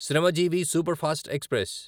Shramjeevi superfast express